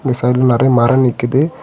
சைடுல நெறைய மர நிக்குது.